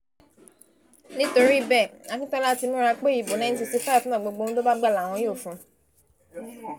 nítorí bẹ́ẹ̀ akintola ti múra pé ìbò nineteen sixty-five náà gbogbo ohun tó bá gbà làwọn yóò fún un